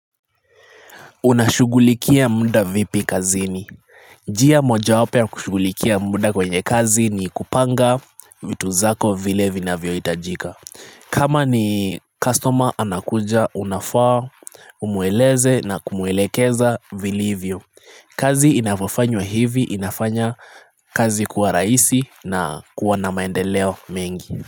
Unashughulikia muda vipi kazini njia moja wapo ya kushughulikia muda kwenye kazi ni kupanga vitu zako vile vinavyo hitajika kama ni customer anakuja unafaa umueleze na kumuelekeza villivyo kazi inapofanywa hivi inafanya kazi kuwa rahisi na kuwa na maendeleo mengi.